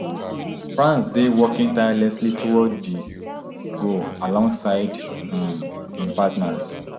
france dey working tirelessly toward di goal alongside um im partners